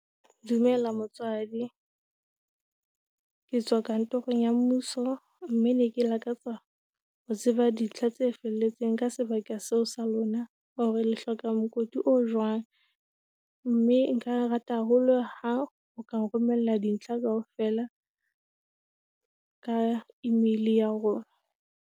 Dumela motswadi, ke tswa kantorong ya mmuso mme ne ke lakatsa ho tseba dintlha tse felletseng ka sebaka seo sa lona hore le hloka mokoti o jwang mme nka rata haholo ha o ka nromella dintlha kaofela ka email ya rona.